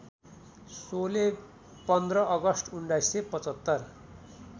Sholay १५ August १९७५